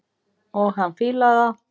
Og hann fílar það.